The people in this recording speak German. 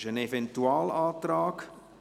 Dies ist ein Eventualantrag.